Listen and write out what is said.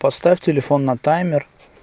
поставь телефон на таймер